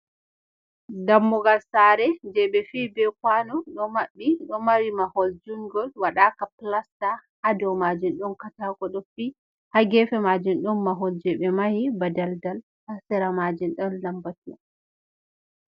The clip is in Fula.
Dammugal saare je ɓe fi be kwano ɗo maɓɓi. Ɗo mari mahol junngol waɗaaka plasta, haa do maajum ɗon kataako ɗo fi. Haa geefe maajum ɗon mahol je ɓe mahi ba daldal, haa sera maajum ɗon lambatu.